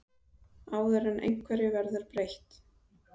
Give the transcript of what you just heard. Áður en einhverju verður breytt?